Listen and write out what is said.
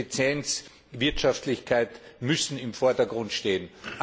Effizienz und Wirtschaftlichkeit müssen im Vordergrund stehen.